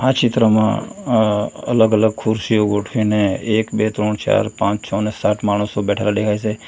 ચિત્રમાં અહ અલગ અલગ ખુરસીઓ ગોઠવીને એક બે ત્રણ ચાર પાંચ છ અને સાત માણસો બેઠેલા દેખાય છે.